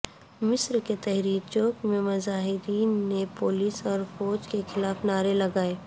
مصر کے تحریر چوک میں مظاہرین نے پولیس اور فوج کے خلاف نعرے لگائے